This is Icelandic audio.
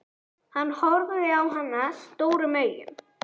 Hann horfði á hana stórum augum.